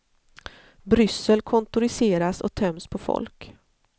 Bryssel kontoriseras och töms på folk.